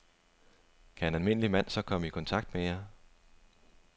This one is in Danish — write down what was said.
Kan en almindelig mand så komme i kontakt med jer?